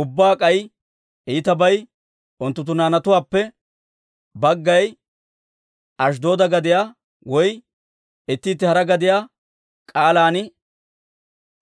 Ubbaa k'ay iitabay unttunttu naanatuwaappe baggay Ashddooda gadiyaa woy itti itti hara gadiyaa k'aalan